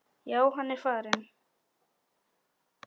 Já, hann er farinn